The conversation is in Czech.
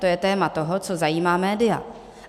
To je téma toho, co zajímá média.